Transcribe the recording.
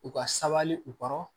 U ka sabali u kɔrɔ